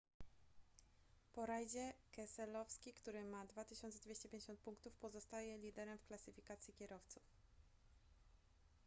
po rajdzie keselowski który ma 2250 punktów pozostaje liderem w klasyfikacji kierowców